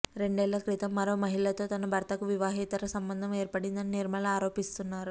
రెండేళ్ళ క్రితం మరో మహిళతో తన భర్తకు వివాహేతర సంబంధం ఏర్పడిందని నిర్మల ఆరోపిస్తున్నారు